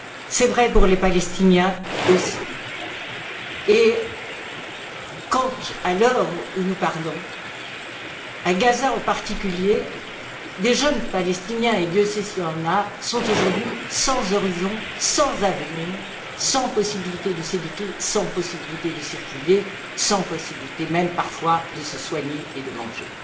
C'est vrai pour les Palestiniens aussi quand, à l'heure où nous parlons à Gaza en particulier des jeunes Palestiniens et Dieu sait s'il y en a sont aujourd'hui sans horizon, sans avenir, sans possibilité de s'éduquer, de circuler et sans possibilité, même parfois, de se soigner et de manger.